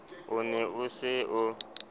o ne o se o